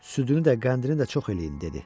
Südünü də, qəndini də çox eləyin dedi.